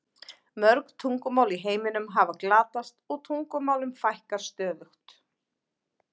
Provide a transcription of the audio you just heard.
Mörg tungumál í heiminum hafa glatast og tungumálum fækkar stöðugt.